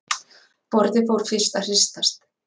Borðið fór fyrst að hristast